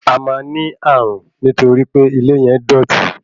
Ẹ máa ní ní ààrùn nítorí pe ilé yẹn dọ̀ti.